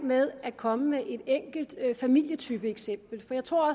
med at komme med et enkelt familietypeeksempel for jeg tror